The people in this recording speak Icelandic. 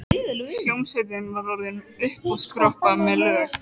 Hljómsveitin var orðin uppiskroppa með lög.